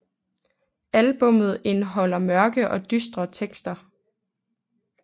Albummet indeholder mørke og dystre tekster